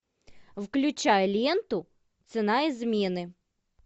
включай ленту цена измены